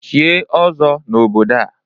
Chie ọzọ n'obodo a!